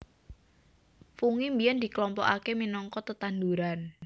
Fungi biyèn diklompokaké minangka tetanduran